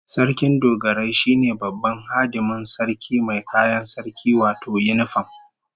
Sarkin Dogarai shine babban hadimin sarki mai kayan sarki wato yinifam